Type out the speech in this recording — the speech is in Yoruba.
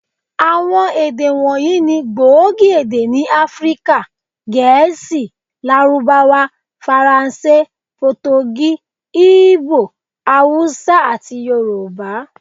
Àwọn èdè wọ̀nyí ni gbòógì èdè ni Áfríkà; Gẹ̀ẹ́sì, Lárúbáwá, Faransé, Potogí, Igbo, Hausa, àti Yorùbá.